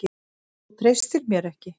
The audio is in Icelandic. Þú treystir mér ekki!